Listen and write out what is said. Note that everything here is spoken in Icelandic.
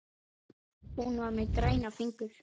Hún var með græna fingur.